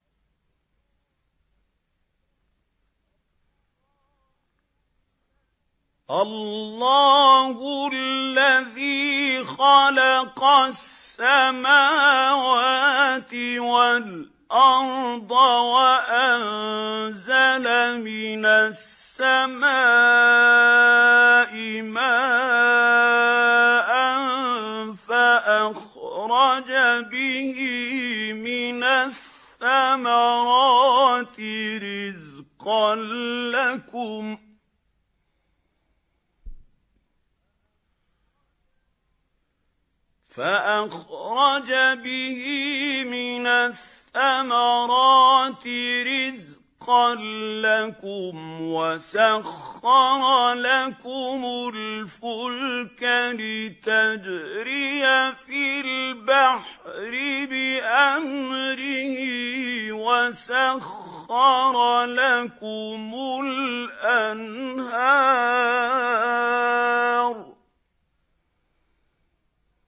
اللَّهُ الَّذِي خَلَقَ السَّمَاوَاتِ وَالْأَرْضَ وَأَنزَلَ مِنَ السَّمَاءِ مَاءً فَأَخْرَجَ بِهِ مِنَ الثَّمَرَاتِ رِزْقًا لَّكُمْ ۖ وَسَخَّرَ لَكُمُ الْفُلْكَ لِتَجْرِيَ فِي الْبَحْرِ بِأَمْرِهِ ۖ وَسَخَّرَ لَكُمُ الْأَنْهَارَ